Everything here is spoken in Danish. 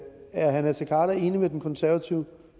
herre naser khader enig med den konservative